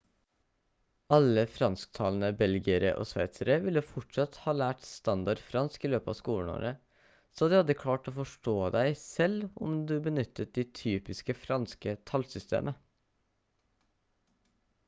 alle fransktalende belgiere og sveitsere ville fortsatt ha lært standard fransk i løpet av skoleårene så de hadde klart å forstå deg selv om du benyttet det typiske franske tallsystemet